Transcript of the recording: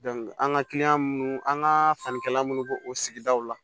an ka minnu an ka sannikɛla minnu b'o sigidaw la